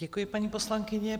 Děkuji, paní poslankyně.